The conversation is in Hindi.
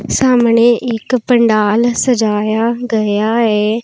सामने एक पंडाल सजाया गया है।